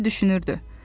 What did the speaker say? Bembi düşünürdü.